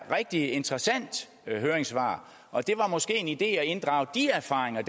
rigtig interessant høringssvar og det var måske en idé at inddrage de erfaringer